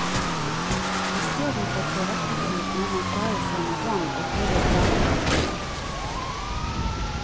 Isteden for toalettpapir må man klare seg med vann og tørre blader fra en sekk.